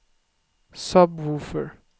sub-woofer